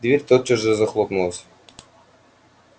дверь тотчас же захлопнулась